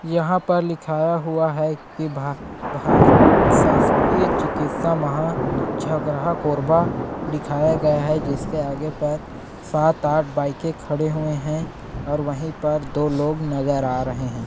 यहाँ पर लिखाया हुआ है की भा भार शासकीय चिकित्सा महा झगराहा कोरबा दिखाया गया है जिसके आगे पर सात आठ बाइके खड़े हुए है और वहीं पर दो लोग नज़र आ रहे है।